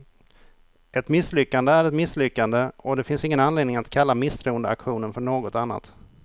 Ett misslyckande är ett misslyckande, och det finns ingen anledning att kalla misstroendeaktionen för något annat.